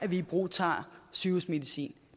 vi ibrugtager sygehusmedicin